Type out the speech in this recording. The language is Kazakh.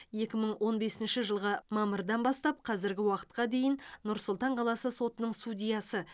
екі мың он бесінші жылғы мамырдан бастап қазіргі уақытқа дейін нұр сұлтан қаласы сотының судьясы